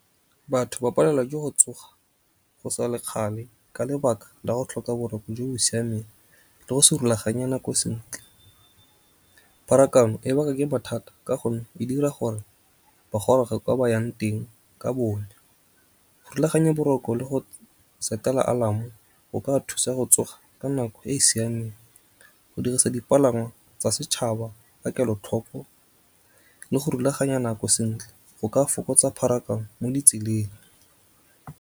Batho ba palelwa ke go tsoga go sa le kgale ka lebaka la go tlhoka boroko jo bo siameng le go se rulaganya nako sentle. Pharakano e baka ke bothata ka gonne e dira gore ba goroge kwa ba yang teng ka bonnya. Rulaganya boroko le go set-ela alarm-o go ka thusa go tsoga ka nako e e siameng. Go dirisa dipalangwa tsa setšhaba ka kelotlhoko le go rulaganya nako sentle go ka fokotsa pharakano mo ditseleng.